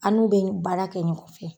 An n'u bɛ baara kɛ nɔgɔn fɛ.